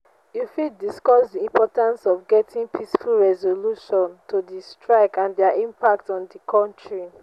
you fit discuss di importance of getting peaceful resolution to di strike and dia impact on di country.